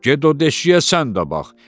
get o deşiyə sən də bax.